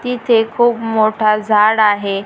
तिथे खूप मोठा झाडं आहे.